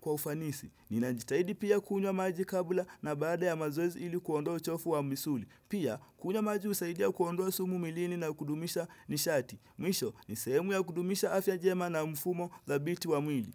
kwa ufanisi. Ninajitahidi pia kunywa maji kabla na baada ya mazoezi ili kuondoa uchofu wa misuli. Pia, kunywa maji husaidia kuondoa sumu mwilini na kudumisha nishati. Mwisho, nisehemu ya kudumisha afya njema na mfumo dabiti wa mwili.